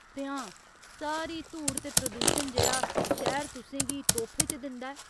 ते हां, सारी धूड़ ते प्रदूशन जेह्ड़ा शैह्‌र तुसें गी तोहफे च दिंदा ऐ।